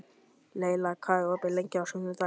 Leyla, hvað er opið lengi á sunnudaginn?